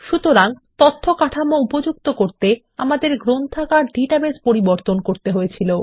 সুতরাং তথ্য কাঠামো উপযুক্ত রাখতে আমাদের গ্রন্থাগার ডেটাবেস পরিবর্তন করতে হয়েছিল